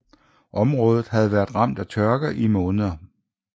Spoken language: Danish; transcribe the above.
Området havde været ramt af tørke i måneder